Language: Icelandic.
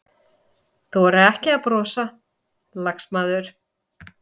Þora ekki að brosa, lagsmaður.